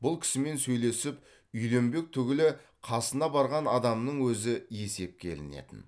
бұл кісімен сөйлесіп үйленбек түгілі қасына барған адамның өзі есепке ілінетін